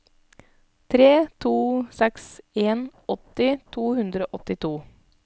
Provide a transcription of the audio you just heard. tre to seks en åtti to hundre og åttito